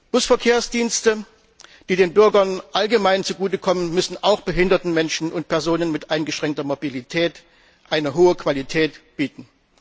Busverkehrsdienste, die den Bürgern allgemein zugute kommen, müssen auch behinderten Menschen und Personen mit eingeschränkter Mobilität eine hohe Qualität bieten.